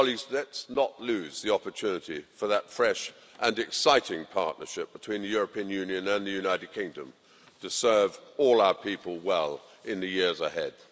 Let's not lose the opportunity for that fresh and exciting partnership between the European Union and the United Kingdom to serve all our people well in the years ahead.